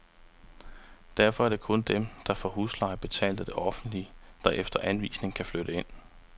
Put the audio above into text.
Derfor er det kun dem, der får husleje betalt af det offentlige, der efter anvisning kan flytte ind.